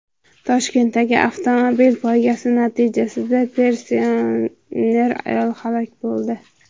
Toshkentdagi avtomobil poygasi natijasida pensioner ayol halok bo‘ldi.